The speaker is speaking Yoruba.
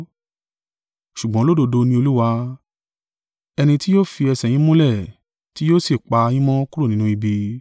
Ṣùgbọ́n olódodo ni Olúwa, ẹni tí yóò fi ẹsẹ̀ yín múlẹ̀, tí yóò sì pa yín mọ́ kúrò nínú ibi.